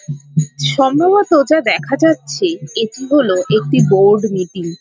সম্ভবত যা দেখা যাচ্ছে এটি হলো একটি বোর্ড মিটিং |